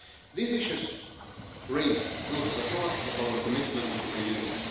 The issues raised go to the heart of our commitment to the Union.